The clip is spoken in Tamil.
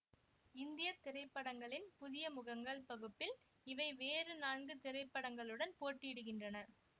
இந்திய திரைப்படங்களின் புதிய முகங்கள் பகுப்பில் இவை வேறு நான்கு திரைப்படங்களுடன் போட்டியிடுகின்றன